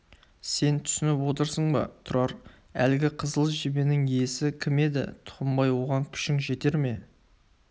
сен түсініп отырсың ба тұрар әлгі қызыл жебенің иесі кім еді тұқымбай оған күшің жете ме